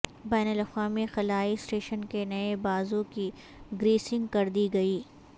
بین الاقوامی خلائی اسٹیشن کے نئے بازو کی گریسنگ کردی گئی